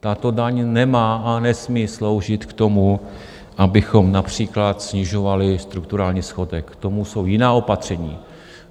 Tato daň nemá a nesmí sloužit k tomu, abychom například snižovali strukturální schodek, k tomu jsou jiná opatření.